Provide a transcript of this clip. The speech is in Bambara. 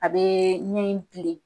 A be min kilen